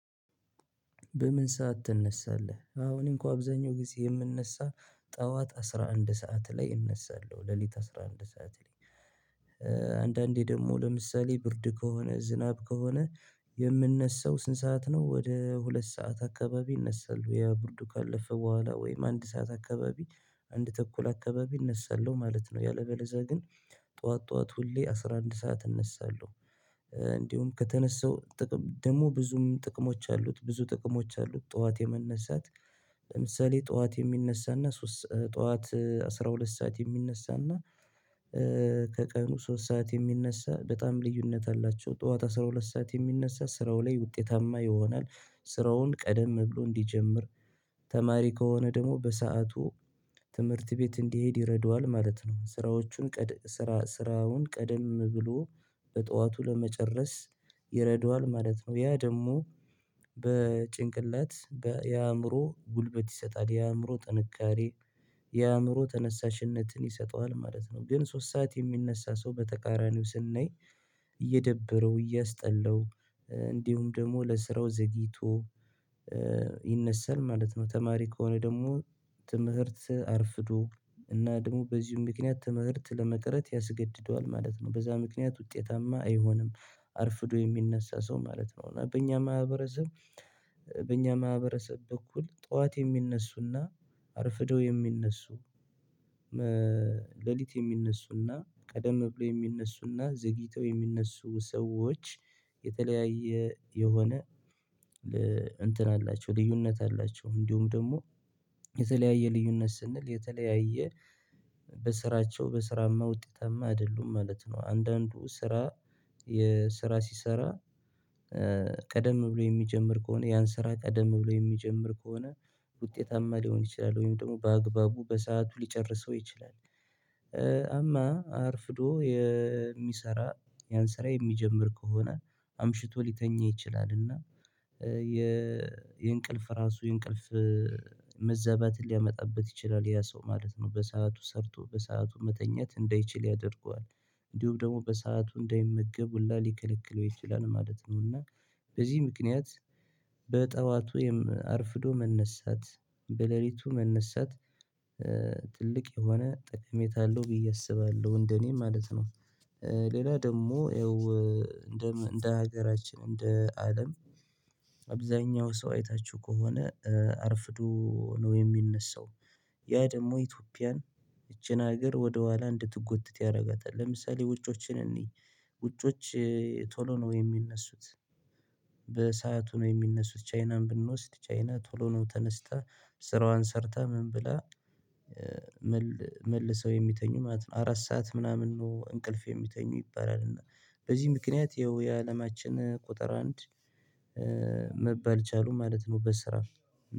በምን ሰዓት ትነሳለህ? አዎ አኔ እንኳ አብዛኛው ጊዜ የምነሳ ጠዋት አስራ አንድ ሰዓት ላይ እነሳለሁ ሌሊት አስራ አንድ ሰዓት ላይ አንዳንዴ ደግሞ ለምሳሌ ብርድ ከሆነ ዝናብ ከሆነ የምነሳው ስንት ሰዓት ነው ወደ ሁለት ሰዓት አካባቢ አነሳለው። የ ቡርዱ ካለፈ ቦኋላ ወይም አንድ ሰዓት አካባቢ አንድ ተኩል አከባቢ እነሳለሁ ማለት ነው። ያለበለዛ ግን ጡዋት ጡዋት ሁሌ አስራ አንድ ሰዓት እነሳለሁ። እንዲሁም ከተነሳው ጥቅም ደግሞ ብዙም ጥቅሞች አሉት ብዙ ጥቅሞች አሉት ጠዋት የመነሳት ለምሳሌ ጡዋት የሚነሳና ሶስ ጡዋት አስራ ሁለት ሰዓት የሚነሳና ከቀኑ ሶስት ሰዓት የሚነሳ በጣም ልዩነት አላቸው። ጡዋት አስራ ሁለት ሰዓት የሚነሳ ስራው ላይ ውጤታማ ይሆናል። ስራውን ቀደም ብሎ እንዲጀምር ተማሪ ከሆነ ደግሞ በሰአቱ ትምህርት ቤት እንዲሄድ ይረዳዋል ማለት ነው። ስራዎቹን ቀደ ስራ ስራውን ቀደም ብሎ በጡዋቱ ለመጨረስ ይረዷል ማለት ነው። ያ ደግሞ በጭንቅላት በ የአእምሮ ጉልበት ይሰጣል የአእምሮ ጥንካሬ የአእምሮ ተነሳሽነትን ይሰጠዋል ማለት ነው። ግን ሶስት ሰዓት የሚነሳ ሰው በተቃራኒው ስናይ እየደበረው እያስጠላው እንዲሁም ደግሞ ለስራው ዘግይቶ ይነሳል ማለት ነው። ተማሪ ከሆነ ደግሞ ትምህርት አርፍዶ እና ደግሞ በዚህም ምክንያት ትምህርት ለመቅረት ያስገድደዋል ማለት ነው። በዛ ምክንያት ውጤታማ አይሆንም። አርፍዶ የሚነሳ ሰው ማለት ነው። በእኛ ማህበረሰብ በእኛ ማህበረሰብ በኩል ጡዋት የሚነሱና አርፍደው የሚነሱ ሌሊት የሚነሱና ቀደም ብሎ የሚነሱና ዘግይተው የሚነሱ ሰዎች የሆነ እንትን አላቸው ልዩነት አላቸው እንዲሁም ደግሞ የተለያየ ልዩነት ስንል የተለያየ በስራቸው በስራማ ውጤታማ አይደሉም ማለት ነው። አንዳንዱ ስራ የስራ ሲሰራ ቀደም ብሎ የሚጀምር ከሆነ ያን ስራ ቀደም ብሎ የሚጀምር ከሆነ ውጤታማ ሊሆን ይችላል። ወይም ደግሞ በአግባቡ በሰአቱ ሊጨርሰው ይችላል። አማ አርፍዶ የሚሰራ ያን ስራ የሚጀምር ከሆነ አምሽቶ ሊተኛ ይችላል እና የእንቅልፍ ራሱ የእንቅልፍ መዛባት ሊያመጣበት ይችላል። ያ ሰው ማለት ነው በሰአቱ ሰርቶ በሰአቱ መተኛት እንዳይችል ያደርገዋል እንዲሁም ደግሞ በሰአቱ እንዳይመገብ ሁላ ሊከለክለው ይችላል ማለት ነው። እና በዚህ ምክንያት በጡዋቱ ወይም አርፍዶ መነሳት በሌሊቱ መነሳት ትልቅ የሆነ ጥቅሜታ አለው ብዬ አስባለሁ እንደኔ ማለት ነው። ሌላ ደግሞ ይኸው እንደ እንደ ሀገራችን እንደ አለም አብዛኛው ሰው አይታችሁ ከሆነ አርፍዶ ነው የሚነሳው ያ ደግሞ ኢትዮጵያን ይቺን ሀገር ወደ ኋላ እንድትጎትት ያረጋታል። ለምሳሌ ውጮችን እንይ ውጮች ቶሎ ነው የሚነሱት። በሰአቱ ነው የሚነሱት ቻይናን ብንወስድ ቻይና ቶሎ ነው ተነስታ ስራዋን ሰርታ ምን ብላ መልሰው የሚተኙ ማለት ነው። አራት ሰዓት ምናምን ነው እንቅልፍ የሚተኙ ይባላል እና በዚህ ምክንያት ይኸው የአለማችን ቁጥር አንድ መባል ቻሉ ማለት ነው በስራ።